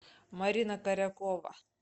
марина корякова